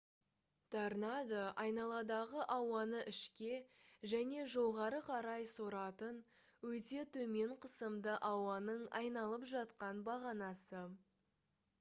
торнадо айналадағы ауаны ішке және жоғары қарай соратын өте төмен қысымды ауаның айналып жатқан бағанасы